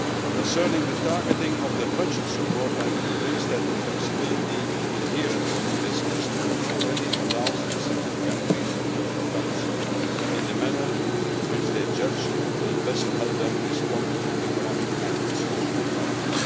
Concerning the targeting of the budget support, I am convinced that the flexibility inherent in this instrument already allows recipient countries to use the funds in the manner which they judge will best help them respond to economic and social problems.